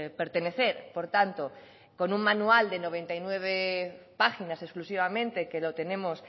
pertenecer por tanto con un manual de noventa y nueve páginas exclusivamente que lo tenemos